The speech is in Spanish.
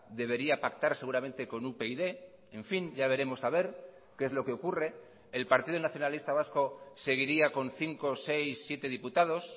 debería pactar seguramente con upyd en fin ya veremos a ver qué es lo que ocurre el partido nacionalista vasco seguiría con cinco seis siete diputados